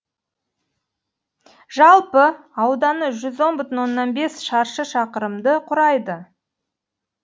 жалпы ауданы жүз он бүтін оннан бес шаршы шақырымды құрайды